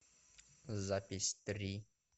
запись три